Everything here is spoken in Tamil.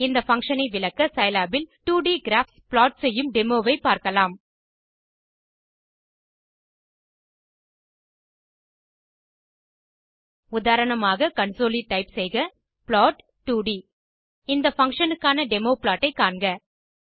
இந்த பங்ஷன் ஐ விளக்க சிலாப் இல் 2ட் கிராப்ஸ் ப்ளாட் செய்யும் டெமோவை பார்க்கலாம் உதாரணமாக கன்சோலில் டைப் செய்க ப்ளாட் 2ட் இந்த பங்ஷன் க்கான டெமோ ப்ளாட் ஐ காண்க